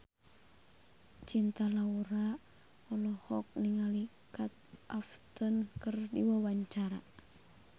Cinta Laura olohok ningali Kate Upton keur diwawancara